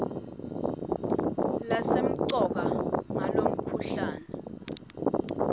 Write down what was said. lesemcoka ngalomkhuhlane hn